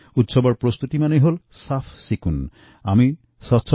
আমাৰ পাৰিবাৰিক জীৱনততো উৎসৱ আৰু স্বচ্ছতা অংগাঅংগীভাবে জড়িত